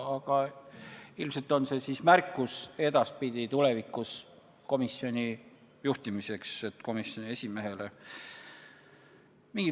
Aga ilmselt on see siis märkus edaspidiseks komisjoni esimehele komisjoni töö juhtimise kohta.